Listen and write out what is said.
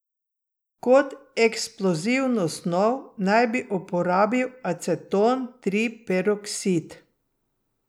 Kot eksplozivno snov naj bi uporabil aceton triperoksid.